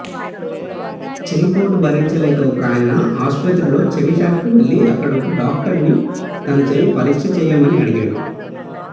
చెవిపోటు భరించలేక ఒకాయన ఆస్పత్రిలో చెవిశాఖకు వెళ్ళి అక్కడ ఒక డాక్టరుని తన చెవి పరీక్షచెయ్యమని అడిగాడు